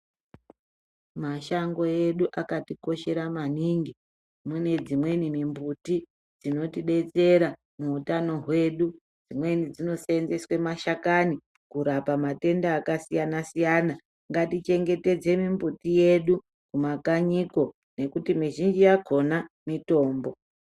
Mashango edu akatikoshera maningi. Mune dzimweni mimbuti dzinotidetsera muutano hwedu. Dzimweni dzinoseenzeswa mashakani kurapa matenda akasiyana siyana. Ngatichengetedze mimbuti yedu kumakanyiko nekuti mizhinji yakona mitombo.